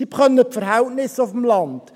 Sie kennen die Verhältnisse auf dem Land.